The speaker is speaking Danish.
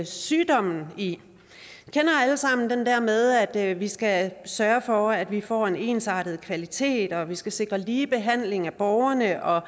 sygdommen vi kender alle sammen den der med at vi skal sørge for at vi får en ensartet kvalitet og at vi skal sikre ligebehandling af borgerne og